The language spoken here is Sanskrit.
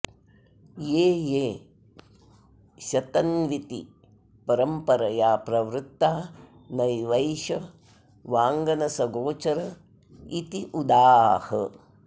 ते ये शतन्त्विति परम्परया प्रवृत्ता नैवैष वाङ्मनसगोचर इत्युदाह